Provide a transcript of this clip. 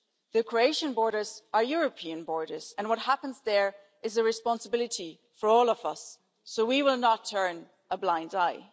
The Croatian borders are European borders and what happens there is a responsibility for all of us, so we will not turn a blind eye.